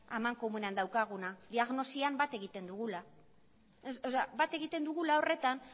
amankomunean daukaguna diagnosian bat egiten dugula bat egiten dugula horretan